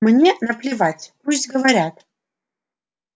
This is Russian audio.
мне наплевать пусть говорят